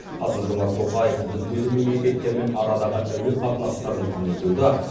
қасым жомарт тоқаев мүдделі мемлекеттермен арадағы әуе қатынастарын кеңейтуді